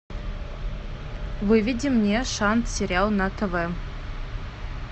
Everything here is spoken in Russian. выведи мне шант сериал на тв